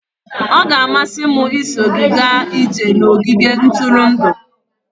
Ọ ga-amasị m iso gị gaa ije n'ogige ntụrụndụ.